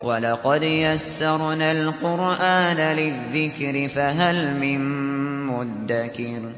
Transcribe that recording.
وَلَقَدْ يَسَّرْنَا الْقُرْآنَ لِلذِّكْرِ فَهَلْ مِن مُّدَّكِرٍ